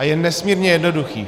A je nesmírně jednoduchý.